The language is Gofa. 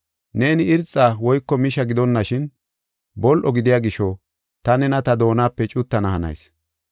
Neeni irxa woyko misha gidonashin, bol7o gidiya gisho ta nena ta doonape cuttana hanayis.